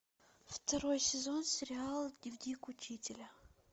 второй сезон сериала дневник учителя